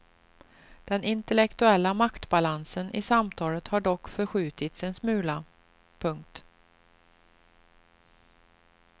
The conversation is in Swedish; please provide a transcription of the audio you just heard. Den intellektuella maktbalansen i samtalet har dock förskjutits en smula. punkt